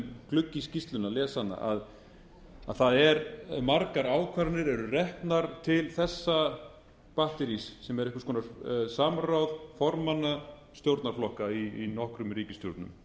glugga í skýrsluna lesa hana að það er margar ákvarðanir eru reknar til þessa batterís sem er einhvers konar samráð formanna stjórnarflokka í nokkrum ríkisstjórnum